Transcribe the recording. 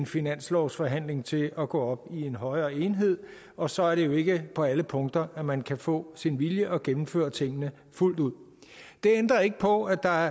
finanslovsforhandlingen til at gå op i en højere enhed og så er det jo ikke på alle punkter at man kan få sin vilje og gennemføre tingene fuldt ud det ændrer ikke på at der